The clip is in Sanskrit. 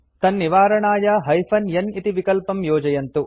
तन्निवारणाय हाइफेन n इति विकल्पं योजयन्तु